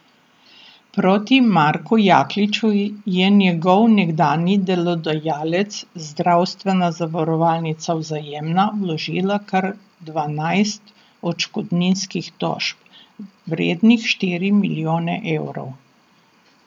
Proti Marku Jakliču je njegov nekdanji delodajalec, zdravstvena zavarovalnica Vzajemna, vložila kar dvanajst odškodninskih tožb, vrednih štiri milijone evrov.